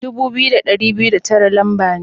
Dubu biyu da dari biyu da tara lamba ne.